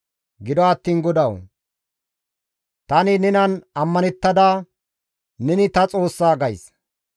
Gido attiin GODAWU! Tani nenan ammanettada, «Neni ta Xoossa» gays.